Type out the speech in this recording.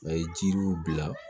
A ye jiriw bila